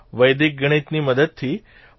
વૈદિક ગણિતની મદદથી